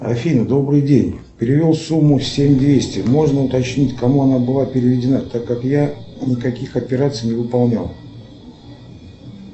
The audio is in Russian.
афина добрый день перевел сумму семь двести можно уточнить кому она была переведена так как я никаких операций не выполнял